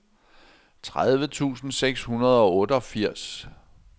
tredive tusind seks hundrede og otteogfirs